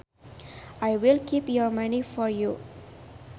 I will keep your money for you